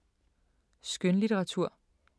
Skønlitteratur